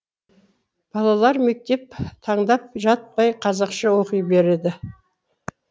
балалар мектеп таңдап жатпай қазақша оқи береді